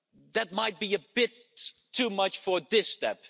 That might be a bit too much for this step.